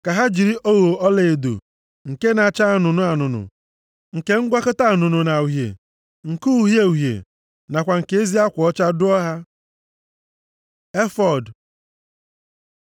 Ka ha jiri ogho ọlaedo, nke na-acha anụnụ anụnụ, nke ngwakọta anụnụ na uhie, nke uhie uhie nakwa nke ezi akwa ọcha dụọ ha. Efọọd